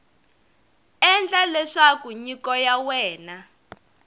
endla leswaku nyiko ya wena